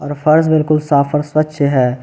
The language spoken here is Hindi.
फर्श बिल्कुल साफ और स्वच्छ है।